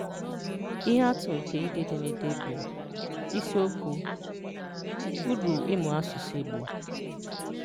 Ìhè Àtụ̀ nke ìdé édémedé bụ̀: Ìsíokwù: Ùrù ịmụ̀ àsụ̀sụ̀ Ìgbò